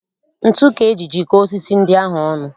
Ntu ka eji jikọọ osisi ndị ahụ ọnụ